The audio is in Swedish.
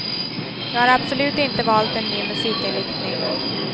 Jag har absolut inte valt en ny musikinriktning.